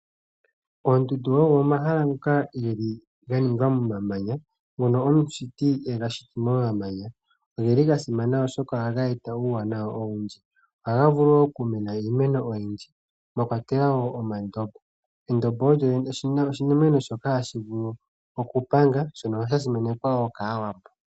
Oondundu odho omahala ngoka geli ganingwa momamanya ngono omushiti ega shiti momamanya. Ogeli gasimana oshoka ohaga eta uuwanawa owundji. Ohaga vulu woo oku mena iimeno oyindji mwakeatelwa woo omandobo. Endobo olyo oshimeno shoka hashi vulu oku panga shono sha simanekwa woo kaawambo.